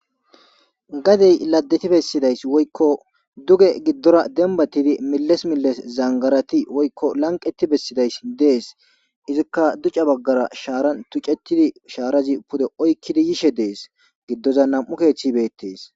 Gadee laddethi bessidaysi woykko duge giddora dembbaththidi melles melles zangarathi woykko lanqqeththi bessidayssi de7ees; izikka duge baggara shaaran thucceththidi shaarazi pude oykkidi yishin de7ees; giddozan nam7u ogethi beeththees.